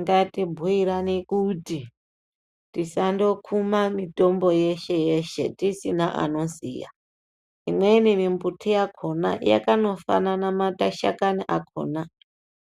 Ngatibhuirane kuti tisandokuma mitombo yeshe-yeshe tisina anoziya. Imweni mimbuti yakhona yakanofanana mashakani akhona,